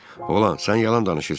Oğlan, sən yalan danışırsan.